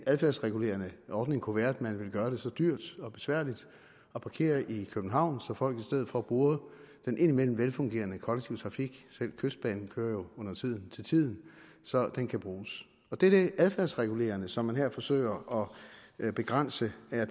adfærdsregulerende ordning kunne være at man vil gøre det så dyrt og besværligt at parkere i københavn så folk i stedet for bruger den indimellem velfungerende kollektive trafik selv kystbanen kører undertiden til tiden så den kan bruges det er det adfærdsregulerende som man her forsøger at begrænse det er